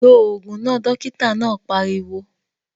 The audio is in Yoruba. Lo ògùn náà! Dókítà náà pariwo